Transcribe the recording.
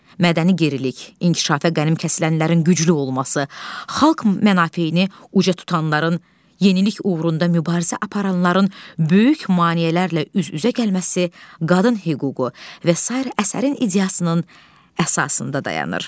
Mədəni gerilik, inkişafa qənim kəsilənlərin güclü olması, xalq mənafeyini uca tutanların, yenilik uğrunda mübarizə aparanların böyük maneələrlə üz-üzə gəlməsi, qadın hüququ və sair əsərin ideyasının əsasında dayanır.